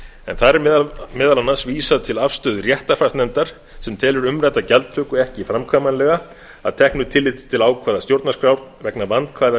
en þar er meðal annars vísað til afstöðu réttarfarsnefndar sem telur umrædda gjaldtöku ekki framkvæmanlega að teknu tilliti til ákvæða stjórnarskrár vegna vandkvæða